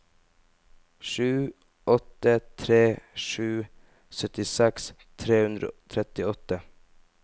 sju åtte tre sju syttiseks tre hundre og trettiåtte